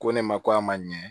Ko ne ma ko a ma ɲɛ